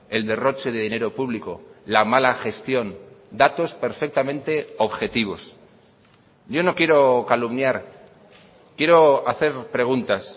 el derroche de dinero público la mala gestión datos perfectamente objetivos yo no quiero calumniar quiero hacer preguntas